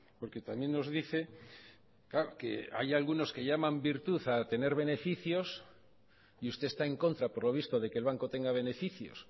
porque también nos dice que hay algunos que llaman virtud a tener beneficios y usted está en contra por lo visto de que el banco tenga beneficios